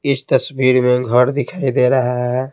इस तस्वीर में घर दिखाई दे रहा है।